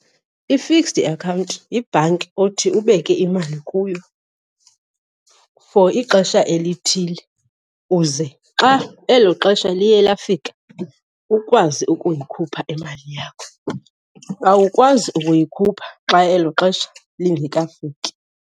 I-fixed account yibhanki othi ubeke imali kuyo for ixesha elithile uze xa elo xesha liye lafika ukwazi ukuyikhupha imali yakho. Awukwazi ukuyikhupha xa elo xesha lingekafiki.